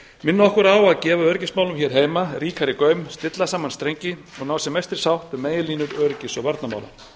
minna okkur á að gefa öryggismálum hér heima ríkari gaum stilla saman strengi og ná sem mestri sátt um meginlínur öryggis og varnarmála